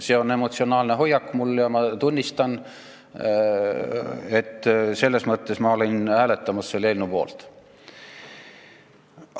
See on olnud mul emotsionaalne hoiak ja ma tunnistan, et selles mõttes olin ma hääletamas selle eelnõu poolt.